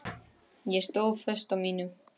Ég stóð föst á mínu.